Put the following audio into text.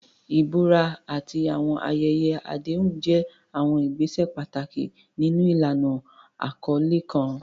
Ìbúra àti àwọn ayẹyẹ àdéhùn jẹ́ àwọn ìgbésẹ̀ pàtàkì nínú ìlànà àkọlé kan.